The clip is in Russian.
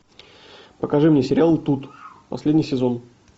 покажи мне сериал тут последний сезон